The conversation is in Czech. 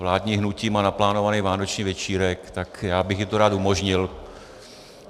Vládní hnutí má naplánovaný vánoční večírek, tak já bych jim to rád umožnil.